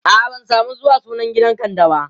a'a ban samu zuwa sunan gidan kande ba